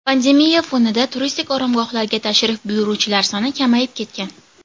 Pandemiya fonida turistik oromgohlarga tashrif buyuruvchilar soni kamayib ketgan.